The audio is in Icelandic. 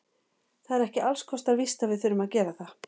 Það er ekki alls kostar víst að við þurfum að gera það.